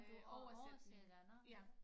Øh oversætning ja